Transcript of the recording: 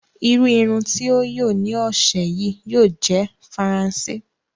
Irùn irùn tí o yóò ní ọṣẹ̀ yí yóò jẹ̀ Faransé.